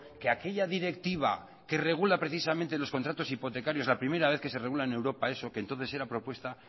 que aquella directiva que regula precisamente los contratos hipotecarios la primera vez que se regula en europa eso que entonces era propuesta